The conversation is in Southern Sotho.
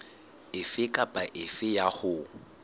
efe kapa efe eo ho